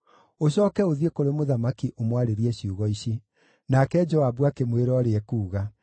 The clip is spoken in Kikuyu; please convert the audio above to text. Ũcooke ũthiĩ kũrĩ mũthamaki ũmwarĩrie ciugo ici.” Nake Joabu akĩmwĩra ũrĩa ekuuga.